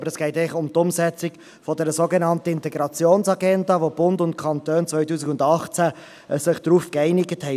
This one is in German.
Aber es geht eigentlich um die Umsetzung dieser sogenannten Integrationsagenda, auf welche sich der Bund und die Kantone im Jahr 2018 geeinigt haben.